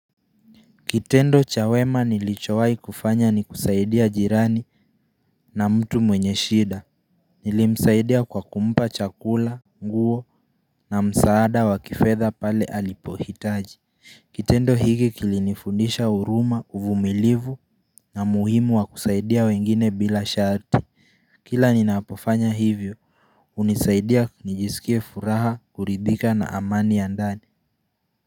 Kitendo cha wema nilichowai kufanya ni kusaidia jirani na mtu mwenye shida Nilimsaidia kwa kumpa chakula, nguo na msaada wa kifedha pale alipohitaji Kitendo hiki kilinifundisha huruma, uvumilivu na muhimu wa kusaidia wengine bila sharti Kila ninapofanya hivyo hunisaidia nijisikie furaha kuridhika na amani ya ndani.